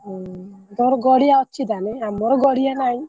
ହୁଁ ତମର ଗଡିଆ ଅଛି ତାହେଲେ ଆମର ଗଡିଆ। ନାହିଁ